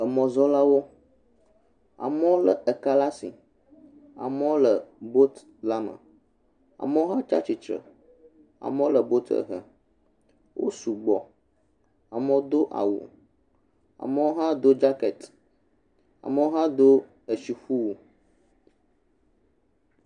Emɔzɔlawo. Amewo lé eka le asi. Amewo le bootila me. Amewo hã tsa tsitsre. Amewo le bootiɛ hem. Wo sugbɔ, amewo do awu, amewo hã do dzakɛti, amewo hã do eshiƒuwu.